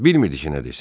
Bilmirdi ki, nə desin.